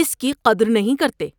اس کی قدر نہیں کرتے۔